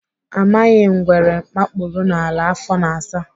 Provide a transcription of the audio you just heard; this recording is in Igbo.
Amaghị ngwere makpuru n'ala afọ na-asa.